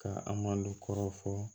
Ka an malo kɔrɔ fɔ